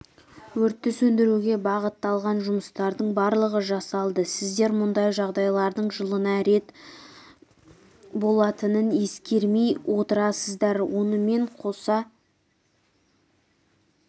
өртті сөндіруге бағытталған жұмыстардың барлығы жасалды сіздер мұндай жағдайлардың жылына рет болатынын ескермей отырсыздар онымен қоса